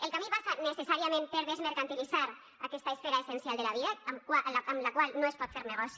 el camí passa necessàriament per desmercantilitzar aquesta esfera essencial de la vida amb la qual no es pot fer negoci